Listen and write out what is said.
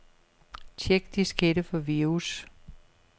Check diskette for virus.